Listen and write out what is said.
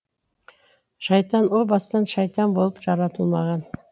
шайтан о бастан шайтан болып жаратылмаған